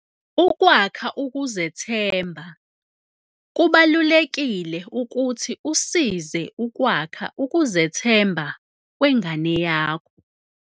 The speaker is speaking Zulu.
Ukwakha ukuzethemba. Kubalulekile ukuthi usize ukwakha ukuzethemba kwengane yakho.